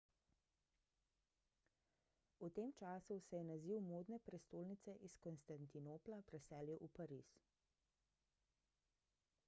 v tem času se je naziv modne prestolnice iz konstantinopla preselil v pariz